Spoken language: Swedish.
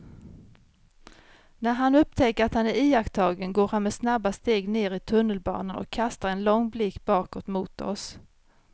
När han upptäcker att han är iakttagen går han med snabba steg ner i tunnelbanan och kastar en lång blick bakåt mot oss.